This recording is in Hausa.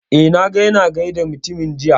Eh, na ga ya na gaida mutumin jiya